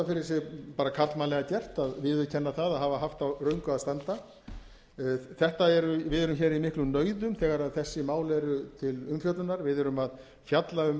sig bara karlmannlega gert að viðurkenna það að hafa haft á röngu að standa við erum hér í miklum nauðum þegar þessi mál eru til umfjöllunar við erum að fjalla um